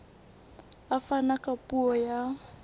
a fana ka puo ya